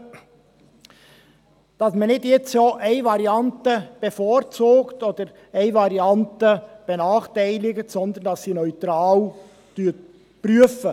Dies, damit man nicht jetzt bereits eine Variante bevorzugt oder eine Variante benachteiligt, sondern, damit man sie neutral prüft.